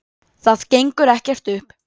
Það gengur ekkert upp.